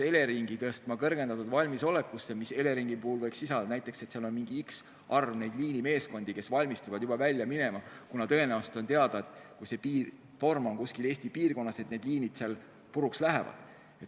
Elering tuleks tõsta kõrgendatud valmisolekusse, mis Eleringi puhul võiks tähendada seda, et on valvel mingi x arv liinimeeskondi, kes valmistuvad välja minema, kuna on teada, et torm puhkeb Eestis konkreetses piirkonnas ja küllap liinid seal puruks lähevad.